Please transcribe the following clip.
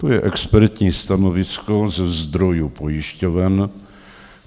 To je expertní stanovisko ze zdrojů pojišťoven.